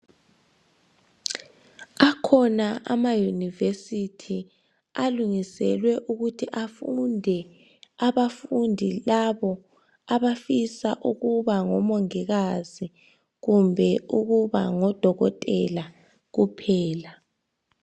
Akhona amayunivesithi alungiselwe ukuthi afunde abafundi labo abafisa ukuba ngomongikazi kumbe ukuba ngodokotela kuphela.